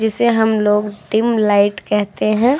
जिसे हम लोग डिम लाइट कहते हैं और --